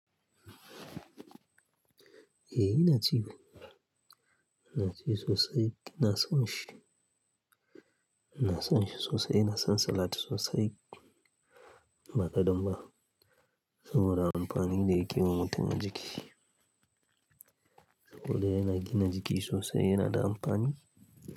Eh ina ci. Ina ci sosai, ina son shi. Ina son shi sosai, ina son salat sosai. Ba kadan ba. Saboda amfanin da yake yi wa mutum a jiki. Saboda yana gina jiki sosai, yana da amfani.